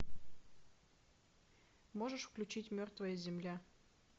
можешь включить мертвая земля